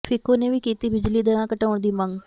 ਫਿਕੋ ਨੇ ਵੀ ਕੀਤੀ ਬਿਜਲੀ ਦਰਾਂ ਘਟਾਉਣ ਦੀ ਮੰਗ